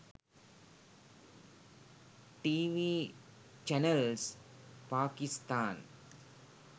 tv channels pakistan